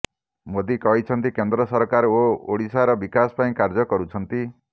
ମୋଦି କହିଛନ୍ତି କେନ୍ଦ୍ର ସରକାର ଓଡିଶାର ବିକାଶ ପାଇଁ କାର୍ଯ୍ୟ କରୁଛନ୍ତି